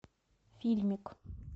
фильмик